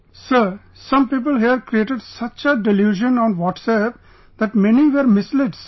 Sir, some people here created such a delusion on WhatsApp that many were misled Sir